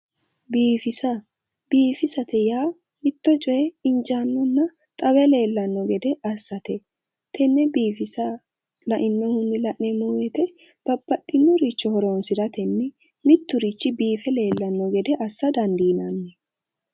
Biifisa. Biifisate yaa mitto coye injaannonna xawe leellanno gede assate. Tenne biifisa lainnohunni la'neemmo woyite babbaxxinnoricho horoonsiratenni mitturichi biife leellanno gede assa dandiinanni.